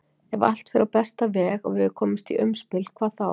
Ef allt fer á besta veg og við komumst í umspil hvað þá?